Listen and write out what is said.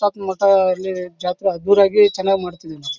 ತಕ್ಕ ಮಟ್ಟ ಇಲ್ಲಿ ಜಾತ್ರೆ ಅದ್ದೂರಿಯಾಗಿ ಚನ್ನಾಗಿ ಮಾಡತ್ತಿದಿವಿ ನಾವು.